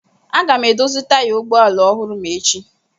Aga m edozi taya ụgbọ ala ọhụrụ ma echi.